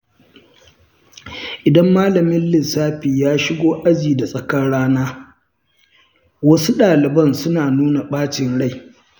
Idan malamin lissafi ya shigo aji da tsakar rana, wasu ɗaliban suna nuna ɓacin rai.